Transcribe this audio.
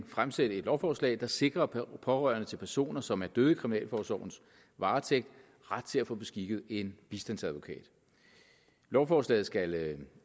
fremsætte et lovforslag der sikrer pårørende til personer som er døde i kriminalforsorgens varetægt ret til at få beskikket en bistandsadvokat lovforslaget skal